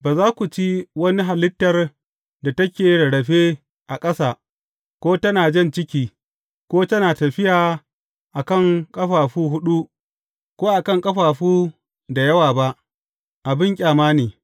Ba za ku ci wani halittar da take rarrafe a ƙasa, ko tana jan ciki, ko tana tafiya a kan ƙafafu huɗu, ko a kan ƙafafu da yawa ba; abin ƙyama ne.